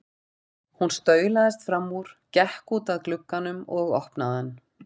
Hann staulaðist fram úr, gekk út að glugganum og opnaði hann.